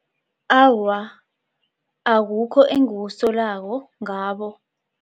Awa, akukho engukusolako ngabo.